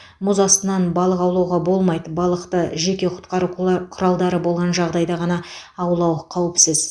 мұз астынан балық аулауға болмайды балықты жеке құтқару құла құралдары болған жағдайда ғана аулау қауіпсіз